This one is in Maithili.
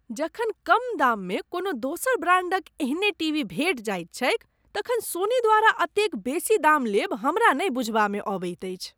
जखन कम दाममे कोनो दोसर ब्रांडक एहने टीवी भेटि जाइत छैक तखन सोनी द्वारा एतेक बेसी दाम लेब हमरा नहि बुझबामे अबैत अछि।